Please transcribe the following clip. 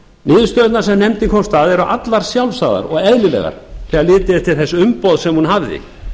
niðurstöðurnar sem nefndin komst að eru allar sjálfsagðar og eðlilegar þegar litið er til þess umboðs sem hún hafði